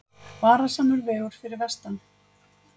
Varasamur vegur fyrir vestan